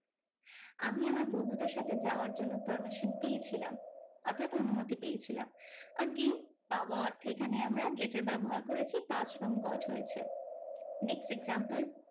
আমি আমার বন্ধুদের সাথে যাওয়ার জন্য permission পেয়ে ছিলাম। অর্থাৎ অনুমতি পেয়েছিলাম। again পাওয়া অর্থে আমরা get এর ব্যবহার করেছি past form got হয়েছে। next example